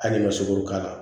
Hali n'i ma sukoro k'a la